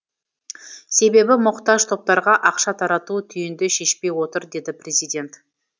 себебі мұқтаж топтарға ақша тарату түйінді шешпей отыр деді президент